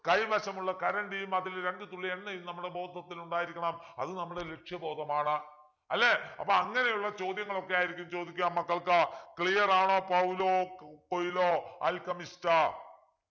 കൈവശമുള്ള കറണ്ടിയും അതിൽ രണ്ടു തുളളി എണ്ണയും നമ്മുടെ ബോധത്തിലുണ്ടായിരിക്കണം അത് നമ്മുടെ ലക്ഷ്യബോധമാണ് അല്ലെ അപ്പൊ അങ്ങനെയുള്ള ചോദ്യങ്ങളൊക്കെയായിരിക്കും ചോദിക്കുക മക്കൾക്ക് clear ആണോ പൗലോ കൊയ്‌ലോ alchemist